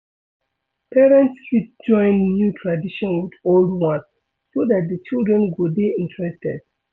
Parents fit join new tradition with old one so dat di children go dey interested